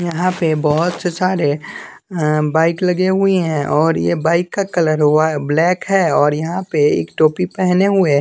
यहां पे बहोत से सारे अ बाइक लगे हुई हैं और ये बाइक का कलर वाय ब्लैक है और यहां पे एक टोपी पेहने हुए--